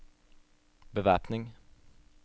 bevæpning